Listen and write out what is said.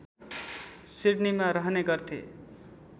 सिडनीमा रहने गर्थे